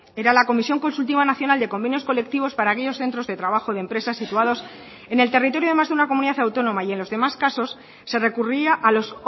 era la comisión consultiva nacional de convenios colectivos para aquellos centros de trabajo de empresas situados en el territorio de más de una comunidad autónoma y en los demás casos se recurría a los